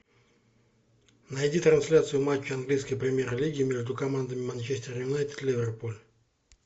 найди трансляцию матча английской премьер лиги между командами манчестер юнайтед ливерпуль